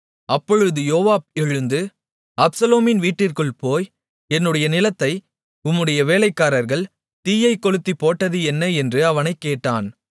அப்பொழுது யோவாப் எழுந்து அப்சலோமின் வீட்டிற்குள் போய் என்னுடைய நிலத்தை உம்முடைய வேலைக்காரர்கள் தீயைக் கொளுத்திப்போட்டது என்ன என்று அவனைக் கேட்டான்